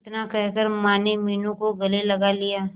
इतना कहकर माने मीनू को गले लगा लिया